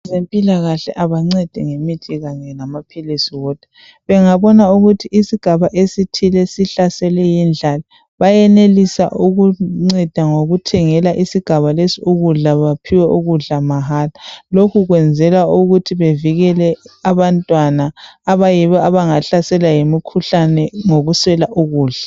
Abezempilakahle abancedi ngemithi kanye lamaphilisi wodwa, bengabona ukuthi isigaba esithile sihlaselwe yindlala bayenelisa ukunceda ngokuthengela isigaba lesi ukudla baphiwe ukudla mahara. Lokhu kwenzelwa ukuthi bevikele abantwana abayibo abangahlaselwa yimikhuhlane ngokuswela ukudla.